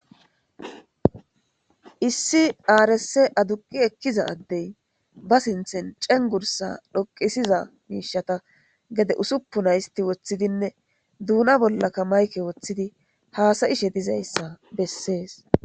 Issi aarss aduqi ekkiza addey ba sinthen cengursa dhoqisiza miishata gede usuppu naysti woththidinne duuna bollakka mayke woththidi haasayishe dizayssa bessees.